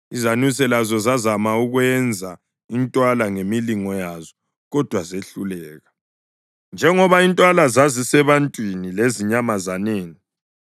Izanuse lazo zazama ukwenza intwala ngemilingo yazo, kodwa zehluleka. Njengoba intwala zazisebantwini lezinyamazaneni,